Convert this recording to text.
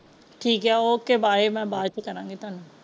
ਠੀਕ ਆ okay bye ਮੈਂ ਬਾਅਦ ਚ ਕਰਾਂਗੀ ਤਾਨੂੰ।